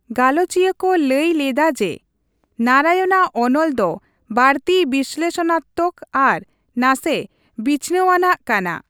ᱜᱟᱞᱚᱪᱤᱭᱟᱹ ᱠᱚ ᱞᱟᱹᱭ ᱞᱮᱫᱟ ᱡᱮ ᱱᱟᱨᱟᱭᱚᱱᱼᱟᱜ ᱚᱱᱚᱞ ᱫᱚ ᱵᱟᱹᱲᱛᱤ ᱵᱤᱥᱞᱮᱥᱚᱱᱟᱛᱛᱚᱠ ᱟᱨ ᱱᱟᱥᱮ ᱵᱤᱪᱷᱱᱟᱹᱣᱟᱱᱟᱜ ᱠᱟᱱᱟ ᱾